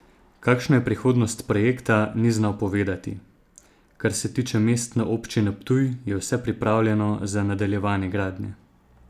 Kakšna je prihodnost projekta, ni znal povedati: "Kar se tiče Mestne občine Ptuj, je vse pripravljeno za nadaljevanje gradnje.